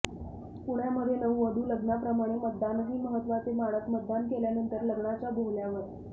पुण्यामध्ये नववधू लग्नाप्रमाणे मतदानही महत्वाचे मानत मतदान केल्यानंतर लग्नाच्या बोहल्यावर